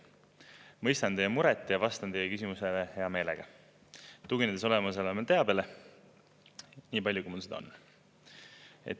Mõistan teie muret ja vastan teie küsimusele hea meelega, tuginedes olemasolevale teabele, nii palju, kui mul seda on.